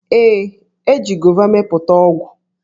Ee, e ji gova mepụta ọgwụ.